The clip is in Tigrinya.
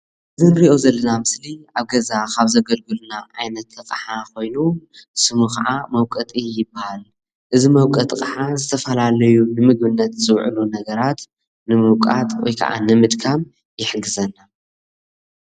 እዚ እንሪኦ ዘለና ምስሊ ኣብ ገዛ ካብ ዘገልግሉና ዓይነት ኣቅሓ ኮይኑ ስሙ ከዓ መውቀጢ ይባሃል፡፡ እዚ ምውቀጢ ከዓ ዝተፈላለዩ ንምግብነት ዝውዕል ነገራት ንምውቃጥ ወይ ከዓ ንምድካም ይሕግዘና፡፡